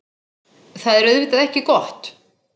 Það er auðvitað ekki gott.